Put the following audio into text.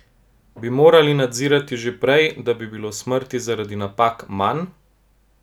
Bi morali nadzor storiti že prej, da bi bilo smrti zaradi napak manj?